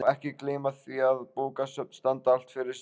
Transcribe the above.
Svo má ekki gleyma því að bókasöfn standa alltaf fyrir sínu.